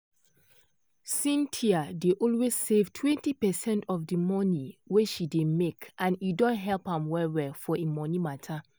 cynthia dey always save 20 percent of de monie wey she dey make and e don help am well well for im monie matter.